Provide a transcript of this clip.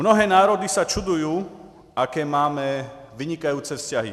Mnohé národy se diví, jaké máme vynikající vztahy.